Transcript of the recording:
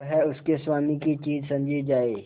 वह उसके स्वामी की चीज समझी जाए